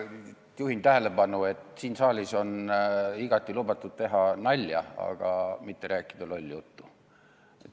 Ma juhin tähelepanu, et siin saalis on igati lubatud teha nalja, aga ei ole lubatud rääkida lolli juttu.